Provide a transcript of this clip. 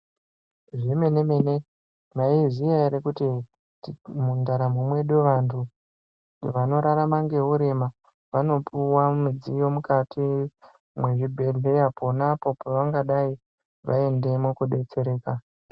Zvemene-mene mwaizviziya ere kuti mundaramo mwedu vantu vanorarama neurema, vanopuwa midziyo mukati mwezvibhedhleya, pona apo pavangadai vaendemwo koodetsereka.